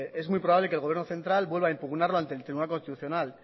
es muy probable que el gobierno central vuelva a impugnarlo ante el tribunal constitucional